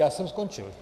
Já jsem skončil.